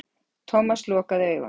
Thomas lokaði augunum.